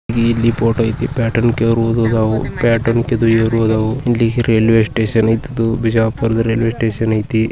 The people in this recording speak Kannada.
ಇಲ್ಲಿ ಫೋಟೋ ಐತಿ ಪ್ಲ್ಯಾಟ್ ರೈಲ್ವೆ ಸ್ಟೇಷನ್ ಐತಿ ಇದು ಬಿಜಾಪುರ ರೈಲ್ವೆ ಸ್ಟೇಷನ್ ಐತಿ.